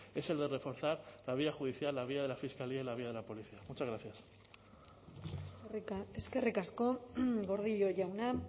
es el de reforzar la vía judicial la vía de la fiscalía y la vía de la policía muchas gracias eskerrik asko gordillo jauna